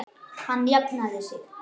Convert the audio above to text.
Hann hafði jafnað sig.